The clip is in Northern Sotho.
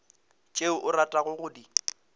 tšeo o ratago go di